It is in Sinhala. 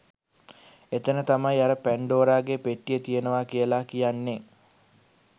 එතන තමයි අර පැන්ඩෝරගෙ පෙට්ටිය තියනව කියල කියන්නෙ